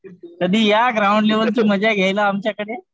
कधी या ग्राउंड लेवलची मजा घ्यायला आमच्या कडे.